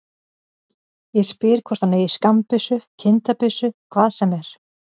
Ég spyr hvort hann eigi skammbyssu, kindabyssu, hvað sem er.